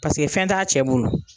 Paseke fɛn t'a cɛ bolo.